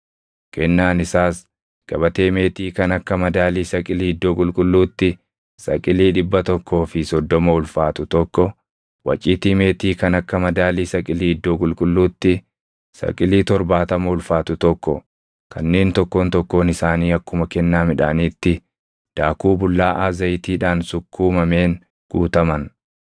Kennaan isaas gabatee meetii kan akka madaalii saqilii iddoo qulqulluutti saqilii dhibba tokkoo fi soddoma ulfaatu tokko, waciitii meetii kan akka madaalii saqilii iddoo qulqulluutti saqilii torbaatama ulfaatu tokko kanneen tokkoon tokkoon isaanii akkuma kennaa midhaaniitti daakuu bullaaʼaa zayitiidhaan sukkuumameen guutaman,